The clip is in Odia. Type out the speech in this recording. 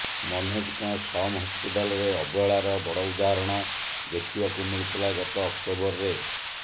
ମନୋଜଙ୍କ ସମ୍ ହସପିଟାଲ୍ରେ ଅବହେଳାର ବଡ଼ ଉଦାହରଣ ଦେଖିବାକୁ ମିଳିଥିଲା ଗତ ଅକ୍ଟୋବରରେ